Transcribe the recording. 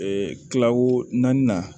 kilawo naaninan